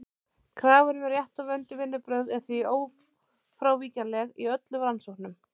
Krafan um rétt og vönduð vinnubrögð er því ófrávíkjanleg í öllum rannsóknum.